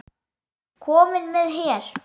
Kominn með her!